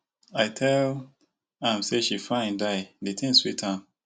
i tell am say she fine die di thing dey sweet am